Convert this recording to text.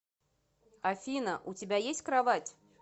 афина у тебя есть кровать